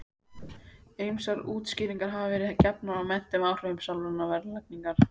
Ýmsar útskýringar hafa verið gefnar á meintum áhrifum sálrænnar verðlagningar.